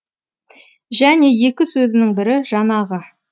және екі сөзінің бірі жанағы